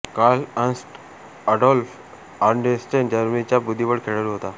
Carl Ernst Adolf Anderssen जर्मनीचा बुद्धिबळ खेळाडू होता